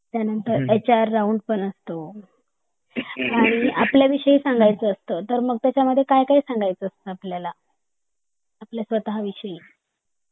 त्या नंतर HR round पण असतो तर आपल्या विषयी सांगायच असत तर मग त्याच्या मध्ये काय काय सांगायच असत आपल्या स्वतः विषयी